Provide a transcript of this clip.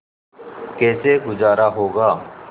कैसे गुजारा होगा